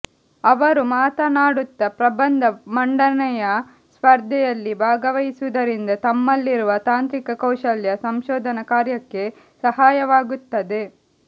ಅವರು ಮಾತನಾಡುತ್ತ ಪ್ರಬಂಧ ಮಂಡನೆಯ ಸ್ಪರ್ಧೆಯಲ್ಲಿ ಭಾಗವಹಿಸುವುದರಿಂದ ತಮ್ಮಲ್ಲಿರುವ ತಾಂತ್ರಿಕ ಕೌಶಲ್ಯ ಸಂಶೋಧನಾ ಕಾರ್ಯಕ್ಕೆ ಸಹಾಯವಾಗುತ್ತದೆ